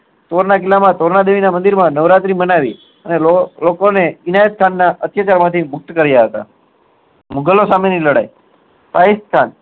તોરના કિલ્લા માં જાય તોરના દેવી ની નવરાત્રી મનાવી અને લો લોકો ને એનાયત ખાન ના અત્યાચાર માં થી મુક્ત કરીયા મુગલો સામે ની લડાઈ રાજેસ્થાન